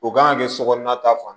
O kan ka kɛ sokɔnɔna ta fan